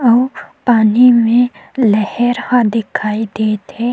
अऊ पानी में लहर ह दिखाई दत हे।